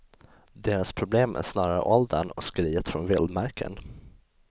Deras problem är snarare åldern och skriet från vildmarken.